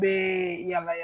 Be yala yala